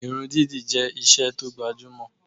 Irun dídì jẹ́ isẹ́ tó gbajúmọ̀